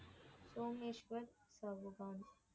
Someshwar Chauhan.